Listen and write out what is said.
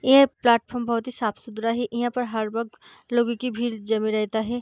ये प्लेटफार्म बहुत ही साफ-सुथरा है यहाँ पर हर वकत लोगों की भीड़ जमी रहता है।